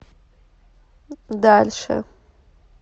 дальше